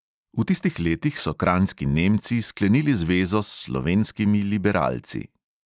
V tistih letih so kranjski nemci sklenili zvezo s slovenskimi liberalci.